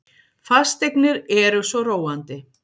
Fasteignir eru svo róandi.